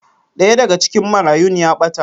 Daya daga cikin marayun ya bata